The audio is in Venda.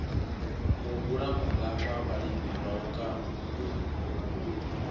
muhula mungafha vhalimi vhauku a